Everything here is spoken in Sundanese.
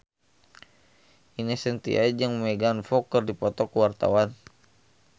Ine Shintya jeung Megan Fox keur dipoto ku wartawan